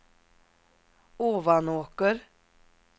Ovanåker